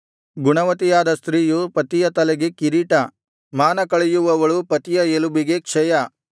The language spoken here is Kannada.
ಗುಣವತಿಯಾದ ಸ್ತ್ರೀಯು ಪತಿಯ ತಲೆಗೆ ಕಿರೀಟ ಮಾನ ಕಳೆಯುವವಳು ಪತಿಯ ಎಲುಬಿಗೆ ಕ್ಷಯ